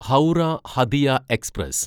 Howrah Hatia express